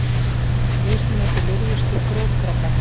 Mismunandi lirfustig grjótkrabba.